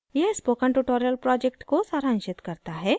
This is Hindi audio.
यह spoken tutorial project को सारांशित करता है